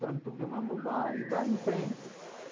Tanto vai, vai em frente.